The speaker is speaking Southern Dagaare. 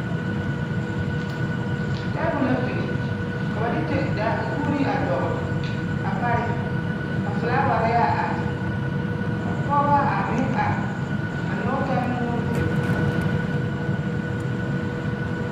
Table la biŋ ka ba de ta da kuuri a dɔgle a pareŋ ka filaaware a are ka pɔgeba a meŋ are a nyɔge taa nuuri.